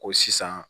Ko sisan